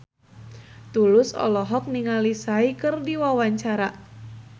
Tulus olohok ningali Psy keur diwawancara